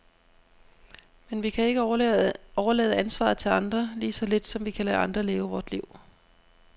Men vi kan ikke overlade ansvaret til andre, lige så lidt som vi kan lade andre leve vort liv.